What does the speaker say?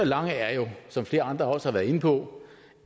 lange er som flere andre også været inde på